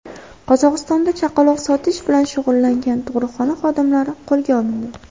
Qozog‘istonda chaqaloq sotish bilan shug‘ullangan tug‘ruqxona xodimalari qo‘lga olindi.